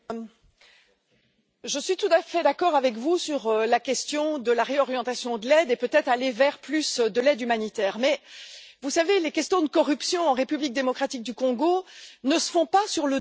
Je suis tout à fait d'accord avec vous sur la question de la réorientation de l'aide et peut être le fait d'aller vers plus d'aide humanitaire, mais vous savez, les questions de corruption en République démocratique du Congo ne se font pas sur le dos de l'aide au développement.